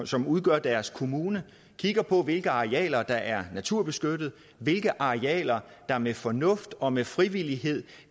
som udgør deres kommune kigger på hvilke arealer der er naturbeskyttede hvilke arealer der med fornuft og med frivillighed